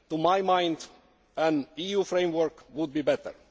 To my mind, an EU framework would be better.